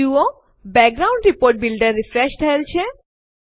જુઓ background report builder refresh થયેલ છે